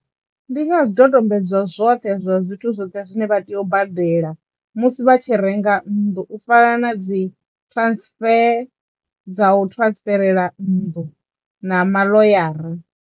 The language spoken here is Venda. Ndi nga zwidodombedzwa zwoṱhe zwa zwithu zwoṱhe zwine vha tea u badela musi vha tshi renga nnḓu u fana na dzi transfer dza u transferela nnḓu na maḽoyara.